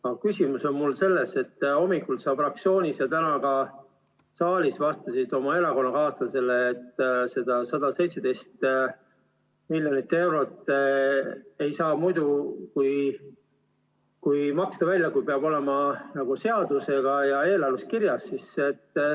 Aga küsimus on mul selles, et hommikul sa fraktsioonis ja täna ka saalis vastasid oma erakonnakaaslasele, et seda 117 miljonit eurot ei saa maksta välja muidu, kui et see peab olema seaduse järgi eelarves kirjas.